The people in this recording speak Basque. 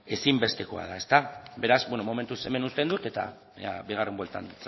ezinbestekoa da beraz momentuz hemen uzten dut eta ea bigarren bueltan